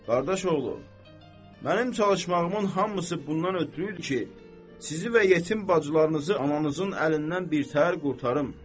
Qardaş oğlu, mənim çalışmağımın hamısı bundan ötrü idi ki, sizi və yetim bacılarınızı ananızın əlindən birtəhər qurtarım.